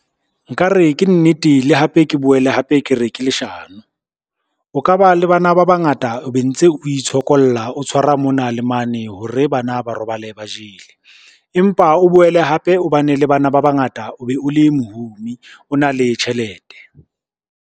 Nkare ke nnete, le hape ke boele hape ke re ke leshano. O ka ba le bana ba bangata be ntse o itshokolla, o tshwara mona le mane hore bana ba robale ba jele. Empa o boele hape o bane le bana ba bangata o be o le mohumi, o na le tjhelete.